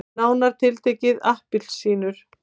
Nánar tiltekið appelsínur.